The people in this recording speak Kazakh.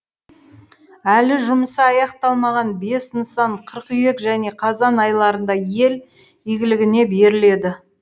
әлі жұмысы аяқталмаған бес нысан қыркүйек және қазан айларында ел игілігіне беріледі